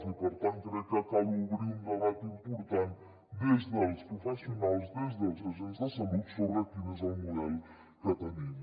i per tant crec que cal obrir un debat important des dels professionals des dels agents de salut sobre quin és el model que tenim